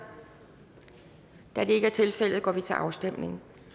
da det ikke er tilfældet går vi til afstemning